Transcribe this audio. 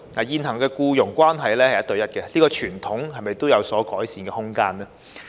現行僱傭關係是一對一，這個傳統是否也有改善的空間呢？